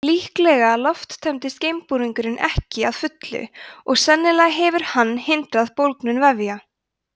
líklega lofttæmdist geimbúningurinn ekki að fullu og sennilega hefur hann hindrað bólgnun vefja